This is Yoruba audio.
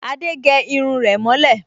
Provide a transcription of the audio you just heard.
Adé gẹ irun rẹ̀ mọ́ lẹ̀